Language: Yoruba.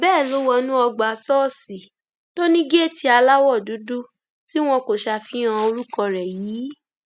bẹẹ ló wọnú ọgbà ṣọọṣì tó ní géètì aláwọ dúdú tí wọn kò ṣàfihàn orúkọ rẹ yìí